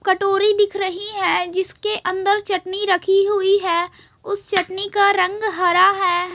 कटोरी दिख रखी है जिसके अंदर चटनी रखी हुई है उस चटनी का रंग हरा है।